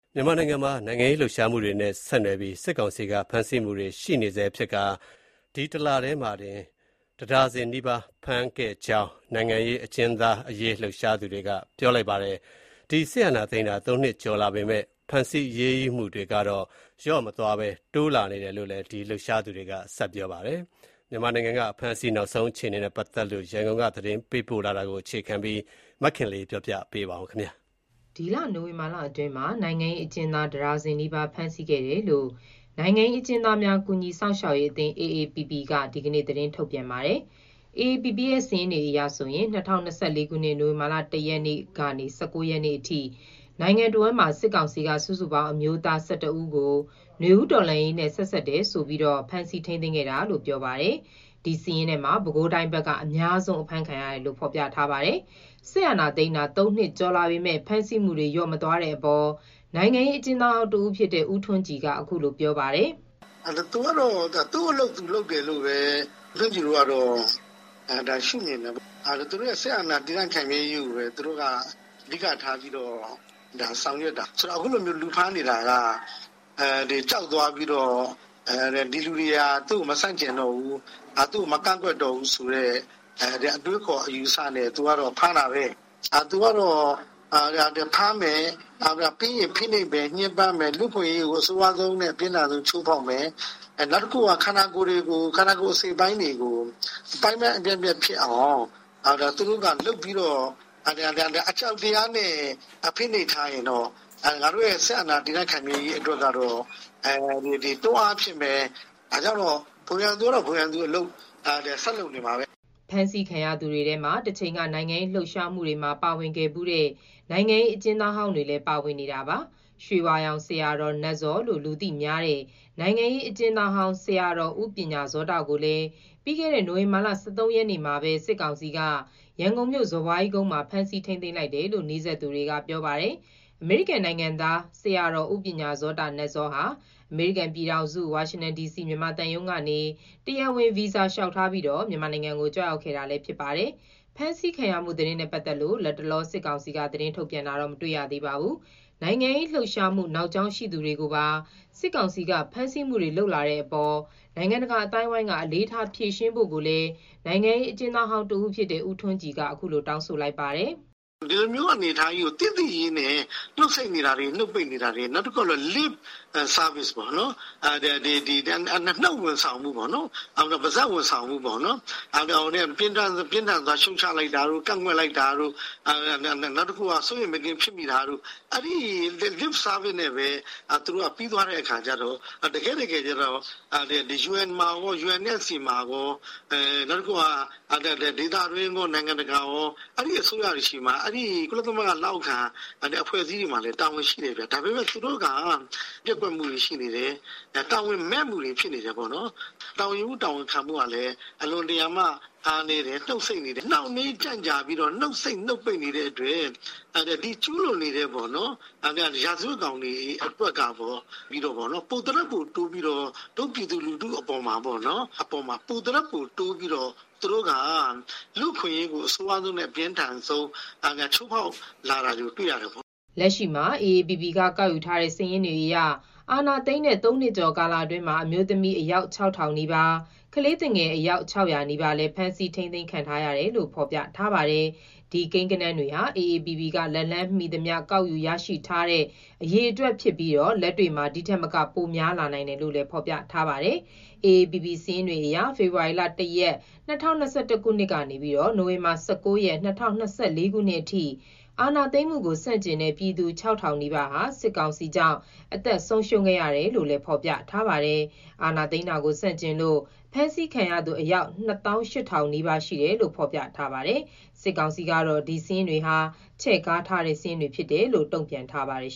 မြန်မာနိုင်ငံမှာ နိုင်ငံရေးလှုပ်ရှားမှုတွေနဲ့ ဆက်နွယ်ပြီး စစ်ကောင်စီက ဖမ်းဆီးနေဆဲဖြစ်ပြီး ဒီလထဲမှာ တင် ၁ ဒါဇင်နီးပါးရှိခဲ့ကြောင်း နိုင်ငံရေးအကျဉ်းသားအရေးလှုပ်ရှားသူတွေက ပြောပါတယ်။ စစ်အာဏာသိမ်းတာ ၃ နှစ်ကျော်လာပေမဲ့ဖမ်းဆီးအရေးယူမှုတွေလျော့မသွားဘဲ တိုးလာနေတယ် လို့လည်း ပြောပါတယ်။ မြန်မာနိုင်ငံက အဖမ်းအဆီးနောက်ဆုံးအခြေအနေနဲ့ ပတ်သက်လို့ ရန်ကုန်က သတင်းပေးပို့ထားတာကို အခြေခံပြီး မခင်လေး တင်ပြထားပါတယ်။ ဒီလနိုဝင်ဘာလအတွင်းမှာကို နိုင်ငံရေးအကျဉ်းသားတဒါဇင်နီးပါးအဖမ်းခံခဲ့ရကြောင်း နိုင်ငံရေး အကျဉ်းသားများကူညီစောင့်ရှောက်ရေးအသင်း က ဒီကနေ့သတင်းထုတ်ပြန်ပါတယ်။ AAPP စာရင်းတွေအရ ၂၀၂၄ ခုနှစ်၊နိုဝင်ဘာလ ၁ ရက်နေ့ကနေ ၁၉ ရက်နေ့အထိ နိုင်ငံတဝန်းမှာ စုစုပေါင်း အမျိုးသား ဦးကို နွေဦးတော်လှန်ရေးနဲ့ဆက်စပ်တယ်ဆိုပြီး စစ်ကောင်စီက ဖမ်းဆီးထိန်းသိမ်း ခဲ့တယ်လို့ ပြောပါတယ်။ ဒီစာရင်းထဲမှာ ပဲခူးတိုင်းဘက်ကအများဆုံးဖြစ်ကြောင်း ဖော်ပြထားပါတယ်။ စစ်အာဏာသိမ်းတာ ၃ နှစ်ကျော်လာပေမဲ့ ဖမ်းဆီးမှုတွေ လျော့မသွားတဲ့အပေါ် နိုင်ငံရေးအကျဉ်းသား ဟောင်းတဦးဖြစ်တဲ့ ဦးထွန်းကြည်က အခုလို ပြောပါတယ်။ "သူကတော့သူ့အလုပ်သူလုပ်တယ်လို့ပဲ ဦးထွန်းကြည်ကတော့မြင်တယ်။ သူတို့စစ်အာဏာ တည်တံ့ ခိုင်မြဲရေးကိုပဲအဓိကထားပြီးတော့ ဆောင်ရွက်တာ။ ခုလိုလူဖမ်းတာက ကြောက်သွားပြီးတော့ သူ့ကိုမဆန့်ကျင်ဘူး၊ မကန့်ကွက်တော့ဘူး- အတွေးအခေါ်နဲ့ဖမ်းတာပဲ။ သူကတော့ဖမ်းမယ်။ ပြီးရင်ဖိနှိပ်မယ်၊ ညှင်းပန်းမယ်။ ပြီးရင် လူ့အခွင့်အရေးကိုအဆိုးဝါးဆုံးချိုးဖောက်မယ်။ နောက် ခန္ဓာကိုယ်အစိတ်အပိုင်းတွေကိုအပိုင်းပိုင်းပြတ်အောင်လုပ်ပြီးတော့ အကြောက်တရားနဲ့ ဖိနှိပ်ထားရင်တော့ ငါတို့စစ်အာဏာတည်မြဲရေးအတွက် တွန်းအားဖြစ်မယ်ပေါ့။ ဘုံရန်သူကတော့ ဘုံရန်သူလိုဆက်လုပ်နေမှာပါပဲ။” ဖမ်းဆီးခံရသူတွေထဲမှာ တချိန်ကနိုင်ငံရေးလှုပ်ရှားမှုတွေမှာ ပါဝင်ခဲ့ဖူးတဲ့ နိုင်ငံရေး အကျဉ်းသား ဟောင်းတွေလည်းပါဝင်နေတာပါ။ ‘ရွှေဝါရောင်ဆရာတော် နတ်ဇော’ လို့လူသိများတဲ့ နိုင်ငံရေး အကျဉ်းသားဟောင်း ဆရာတော်ဦးပညာဇောတကိုလည်း ပြီးခဲ့တဲ့ နိုဝင်ဘာ ၁၃ ရက်နေ့မှာပဲ စစ်ကောင်စီက ရန်ကုန်မြို့ စော်ဘွားကြီးကုန်းမှာ ဖမ်းဆီးထိန်းသိမ်းလိုက်တယ်လို့ နီးစပ်သူတွေက ပြောပါတယ်။ အမေရိကန်နိုင်ငံသား ဆရာတော် ဦးပညာဇောတ ဟာ အမေရိကန် ပြည်ထောင်စု ဝါရှင်တန်ဒီစီ မြန်မာသံရုံးကနေ တရားဝင် ဗီဇာလျှောက်ထားပြီး မြန်မာနိုင်ငံ ကို ကြွရောက်ခဲ့တာဖြစ်ပါတယ်။ ဖမ်းဆီးခံရမှုသတင်းနဲ့ပတ်သက်လို့ လတ်တလော စစ်ကောင်စီက သတင်းထုတ်ပြန်တာတော့ မတွေ့ရသေးပါဘူး။ နိုင်ငံရေးလှုပ်ရှားမှု နောက်ကြောင်းရှိသူတွေကိုပါ စစ်ကောင်စီက ဖမ်းဆီးလာနေတဲ့အပေါ် နိုင်ငံတကာ အသိုင်းအဝိုင်းကအလေးထား ဖြေရှင်းဖို့လည်း နိုင်ငံရေးအကျဉ်းသားဟောင်းတဦးဖြစ်တဲ့ ဦးထွန်းကြည်က တောင်းဆိုလိုက်ပါတယ်။ “ဒီလိုအနေအထားကို သိသိချည်းနဲ့ နှုတ်ဆိတ်နေတယ်၊ နှုတ်ပိတ်နေတယ်။ နောက် lip service လိုမျိုး ပါးစပ်ဝန်ဆောင်မှုပေါ့- ပြင်းထန် စွာရှုတ်ချပါတယ်တို့၊ အင်မတန်စိုးရိမ်မကင်းဖြစ်မိတယ်တို့- အဲလိုနဲ့ပဲ ပြီးတော့ တကယ့်တကယ်ကျတော့ ယူအန်မှာကော၊ ဒေသတွင်းနိုင်ငံတွေကော၊ နိုင်ငံတကာ အနေနဲ့ ကော နောက်ကုလသမဂ္ဂလက်အောက်ခံအဖွဲ့တွေမှာပါ တာဝန်ရှိတယ်။ အခုချိန်ထိကတော့ တာဝန် ပျက်ကွက်မှုတွေရှိနေတယ်။ တာဝန်မဲ့မှုတွေဖြစ်နေတယ်။ တာဝန်ယူမှုတာဝန်ခံမှု အားနည်းနေတယ်။ နှုတ်ဆိတ်နေတယ်။ နှုတ်ပိတ်နေတယ်ဗျ။ အဲလိုတွေကြောင့် ကျူးလွန်နေတဲ့ ရာဇဝတ်ကောင်တွေက ပိုသထက်ပိုပြီး ပြည်သူတွေအပေါ်ဖိနှိပ်လာတယ်လို့မြင်ပါတယ်။” လက်ရှိမှာ အေအေပီပီကောက်ယူထားတဲ့စာရင်းအရ အာဏာသိမ်းတဲ့ ၃ နှစ်ကျော်ကာလအတွင်းမှာ အမျိုးသမီး အယောက် ၆,၀၀၀နီးပါး၊ ကလေးသူငယ် အယောက် ၆၀၀ နီးပါးလည်း ဖမ်းဆီးထိန်းသိမ်း ခံထားရတယ်လို့ ဖော်ပြထားပါတယ်။ ဒီကိန်းဂဏန်းတွေဟာ အေအေပီပီက လက်လှမ်းမီသမျှ ကောက်ယူရရှိထားနိုင်တဲ့ အရေအတွက်ဖြစ်ပြီးလက်တွေ့မှာ ဒီထက်မက ပိုများနိုင်တယ်လို့ ဖော်ပြထား ပါတယ်။ အေအေပီပီစာရင်းတွေအရ ဖေဖော်ဝါရီလ ၁ ရက်၊ ၂၀၂၁ ခုနှစ် ကနေနိုဝင်ဘာလ ၁၉ ရက်၊ ၂၀၂၄ ခုနှစ်အထိအာဏာသိမ်းမှုကို ဆန့် ကျင်တဲ့ ပြည်သူ ၆,၀၀၀ နီးပါးဟာ စစ်ကောင်စီကြောင့် အသက်ဆုံးရှုံးခဲ့ရတယ်လို့ဖော်ပြထားပါတယ်။ အာဏာသိမ်းတာကို ဆန့်ကျင်လို့ ဖမ်းဆီးခံရသူ အယောက် ၂၈,၀၀၀ နီးပါးရှိတယ်လို့ ဖော်ပြထားပါတယ်။ စစ်ကောင်စီကတော့ ဒီစာရင်းတွေဟာ ချဲ့ကားထားတဲ့ စာရင်းတွေ ဖြစ်တယ်လို့ တုံ့ပြန်ထားပါတယ်